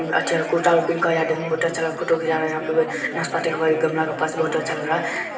अच्छा है कुर्ता आर पिन्ह के आया देखने में बहुत अच्छा फोटो आर घिचा रहा है यहां पे नाशपाती के ब गमला के पास बहुत ही अच्छा लग रहा है।